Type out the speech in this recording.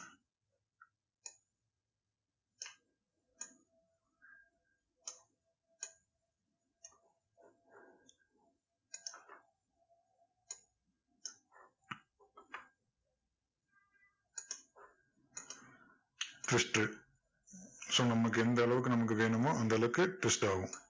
twist so நமக்கு எந்த அளவுக்கு நமக்கு வேணுமோ அந்த அளவுக்கு twist ஆகும்.